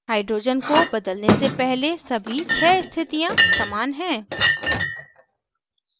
hydrogen को बदलने से पहले सभी छः स्थितियां समान हैं